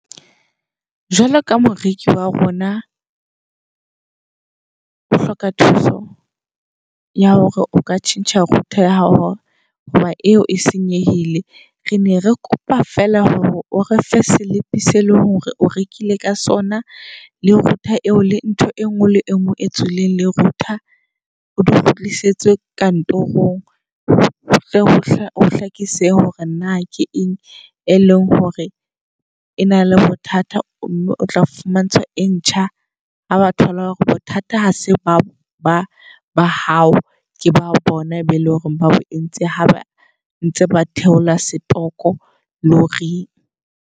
Jwalo ka moreki wa rona o hloka thuso ya hore o ka tjhentjha router ya hao hoba eo e senyehile. Re ne re kopa fela hore o re fe slip-e se eleng hore o rekile ka sona. Le router eo le ntho e nngwe le engwe e tswileng le router. O di kgutlisetswe kantorong. I hlakise hore na ke eng e leng hore e na le bothata, mme otla fumantsha e ntjha ha ba thola hore bothata ha se ba ba hao. Ke ba bona e be eleng hore ba entse haba ntse ba theola setoko le hore.